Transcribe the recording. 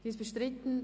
Sie ist bestritten;